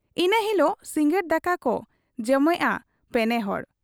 ᱤᱱᱟᱹ ᱦᱤᱞᱚᱜ ᱥᱤᱸᱜᱟᱹᱲ ᱫᱟᱠᱟᱠᱚ ᱡᱚᱢᱮᱜ ᱟ ᱯᱮᱱᱮᱦᱚᱲ ᱾